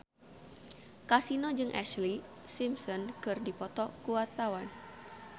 Kasino jeung Ashlee Simpson keur dipoto ku wartawan